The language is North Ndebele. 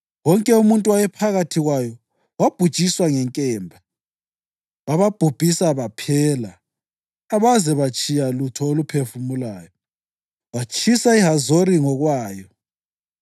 Bazinika iKhiriyathi Aribha (okutsho iHebhroni) emadlelweni akulowomango elizweni lamaqaqa koJuda (u-Abha wayengukhokho ka-Anakhi).